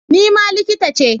Ni ma likita ce.